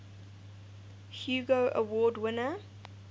hugo award winner